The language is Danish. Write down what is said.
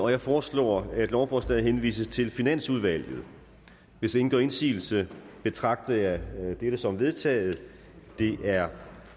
jeg foreslår at lovforslaget henvises til finansudvalget hvis ingen gør indsigelse betragter jeg dette som vedtaget det er